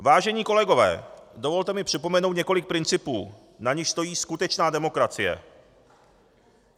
Vážení kolegové, dovolte mi připomenout několik principů, na nichž stojí skutečná demokracie.